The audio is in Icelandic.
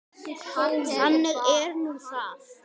Þannig er nú það.